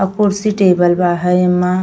अ कुर्सी टेबल बा है ऐमा।